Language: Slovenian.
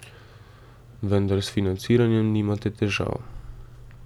Vendar s financiranjem nimate težav.